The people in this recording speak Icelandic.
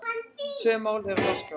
Tvö mál eru á dagskrá.